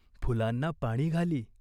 फुलांना पाणी घाली.